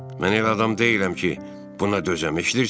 Mən elə adam deyiləm ki, buna dözəm, eşidirsən?